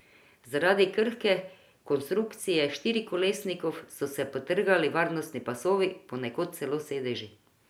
Zaradi krhke konstrukcije štirikolesnikov so se potrgali varnostni pasovi, ponekod celo sedeži.